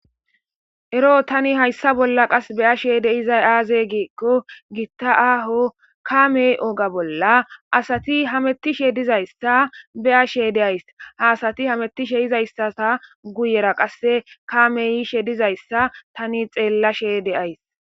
Ero tani haysa bolla beyashe de'izay aze giko GITA aho KAme oge Bolla AsATI hamitishe Dizaysa beyashe de'aysi Ha Asati hamitishe Dizaysa Guyera qase Kamey yishe Dizaysa Tani xellashe de'aysi